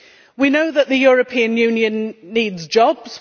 We know that the European Union needs jobs.